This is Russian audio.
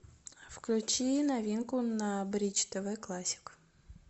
включи новинку на бридж тв классик